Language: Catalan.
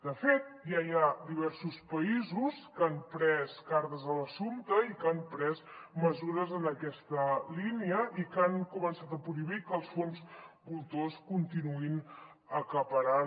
de fet ja hi ha diversos països que han pres cartes a l’assumpte i que han pres mesures en aquesta línia i que han començat a prohibir que els fons voltors continuïn acaparant